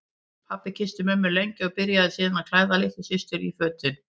Pabbi kyssti mömmu lengi og byrjaði síðan að klæða litlu systur í fötin.